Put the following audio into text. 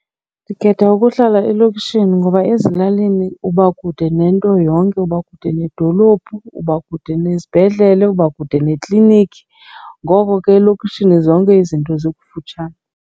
Ndikhetha ukuhlala elokishini ngoba ezilalini uba kude nento yonke, uba kude nedolophu, uba kude nesibhedlele, uba kude neklinikhi. Ngoko ke elokishini zonke izinto zikufutshane.